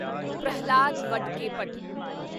Prahlad Vadakkepat